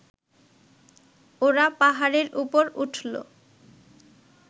ওরা পাহাড়ের উপর উঠল